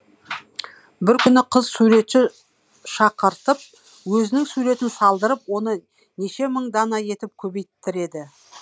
бір күні қыз суретші шақыртып өзінің суретін салдырып оны неше мың дана етіп көбейттіреді